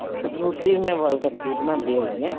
nutri ਮੈਂ boil ਕਰਕੇ ਹੀ ਬਣਾਉਂਦੀ ਹੁੰਦੀ ਹਾਂ